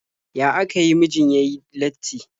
Ya aka yi mijin ya yi latti?